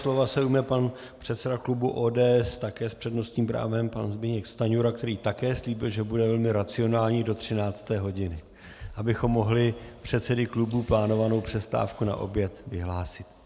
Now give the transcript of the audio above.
Slova se ujme pan předseda klubu ODS, také s přednostním právem, pan Zbyněk Stanjura, který také slíbil, že bude velmi racionální do 13. hodiny, abychom mohli předsedy klubů plánovanou přestávku na oběd vyhlásit.